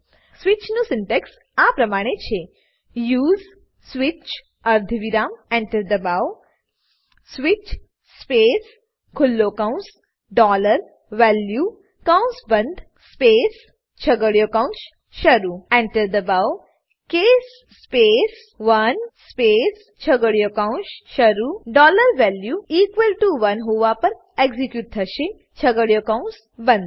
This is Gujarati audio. સ્વિચ નું સિન્ટેક્સ આ પ્રમાણે છે યુએસઇ સ્વિચ અર્ધવિરામ Enter દબાવો સ્વિચ સ્પેસ ખુલ્લો કૌંસ ડોલર વેલ્યુ કૌંસ બંધ સ્પેસ છગડીયો કૌંસ શરૂ Enter દબાવો કેસ સ્પેસ 1 સ્પેસ છગડીયો કૌંસ શરૂ ડોલર વેલ્યુ ઇક્વલ ટીઓ 1 હોવા પર એક્ઝીક્યુટ થશે છગડીયો કૌંસ બંધ